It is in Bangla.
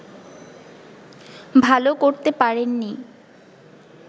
ভালো করতে পারেননি